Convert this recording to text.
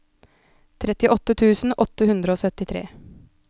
trettiåtte tusen åtte hundre og syttitre